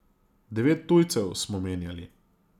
Devet tujcev smo menjali.